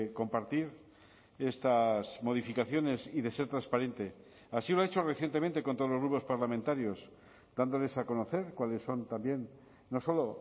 compartir estas modificaciones y de ser transparente así lo ha hecho recientemente con todos los grupos parlamentarios dándoles a conocer cuáles son también no solo